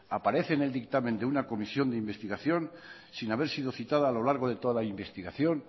aparece en el dictamen de una comisión de investigación sin haber sido citada a lo largo de toda la investigación